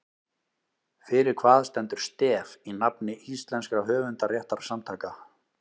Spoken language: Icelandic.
Fyrir hvað stendur STEF í nafni íslenskra höfundarréttarsamtaka?